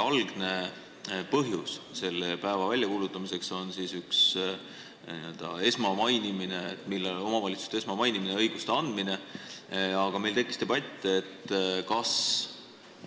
Algne põhjus selle päeva väljakuulutamiseks on n-ö omavalitsuste esmamainimine ja neile õiguste andmine, aga meil tekkis debatt, kas